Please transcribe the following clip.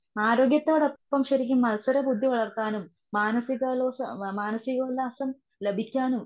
ആരോഗ്യത്തോടൊപ്പം ശരിക്കും മത്സരബുദ്ധി വളർത്താനും. മനസികളോഷ മാനസികോല്ലാസം ലഭിക്കാനും.